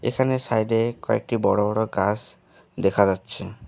এখানে সাইডে কয়েকটি বড়ো় বড়ো় গাস দেখা যাচ্ছে।